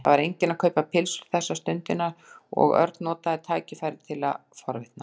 Það var enginn að kaupa pylsur þessa stundina og Örn notaði tækifærið til að forvitnast.